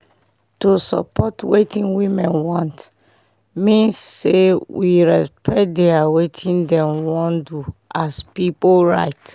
to dey support wetin women want mean say we respect dia wetin dem wan do as pipu right